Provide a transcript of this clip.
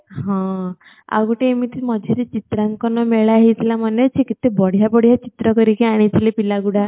ହଁ ଆଉ ଗଟେ ଏମିତି ମଝି ରେ ଚିତ୍ରାଙ୍କନ ମେଳା ହେଇଥିଲା ମନେ ଅଛି କେତେ ବଢ଼ିଆ ବଢ଼ିଆ ଚିତ୍ର କରିକି ଆଣି ଥିଲେ ପିଲା ଗୁଡା